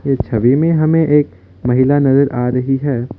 इस छवि में हमें एक महिला नजर आ रही है।